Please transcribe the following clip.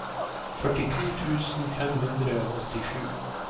førtito tusen fem hundre og åttisju